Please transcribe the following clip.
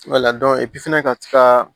fana ka ti ka